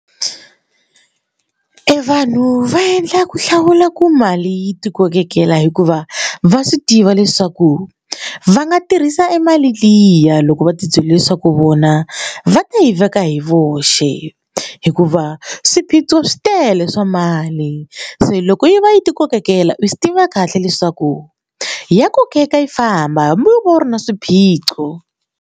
Evanhu va endla ku hlawula ku mali yi ti kokekela hikuva va swi tiva leswaku va nga tirhisa emali liya loko va ti byele swaku vona va ti yi veka hi voxe hikuva swiphiqo swi tele swa mali se loko yi va yi ti kokekela u swi tiva kahle leswaku yi ya kokeka yi famba hambi wo va u ri na swiphiqo.